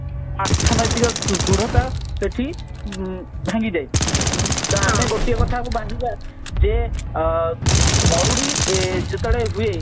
ଅର୍ଥନୈତିକ ସୁ ଦୃଢତା ସେଠି ଉଁ ଭାଙ୍ଗି ଯାଏ ଆମେ ଗୋଟିଏ କଥା କୁ ଭାବିବା ଯେ ଅ ମରୁଡି ଏ ଯେତେବେଳେ ହୁଏ